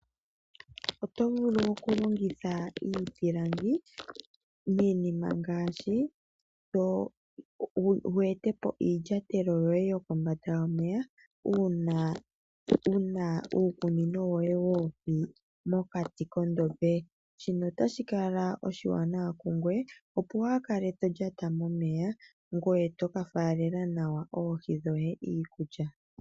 Oto vulu oku longitha iipilangi, wu etepo iilyatelo yoye yokombanda yomeya, uuna wuna uukunino woye woohi mokati kondombe. Shino otashi kala oshiwanawa kungoye opo waa kale tolyata momeya ngoye toka faalela nawa oohi dhoye iikulya.